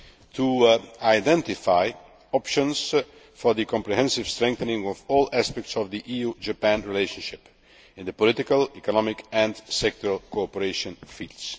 to identify options for the comprehensive strengthening of all aspects of the EU Japan relationship, in the political, economic and sectoral cooperation fields.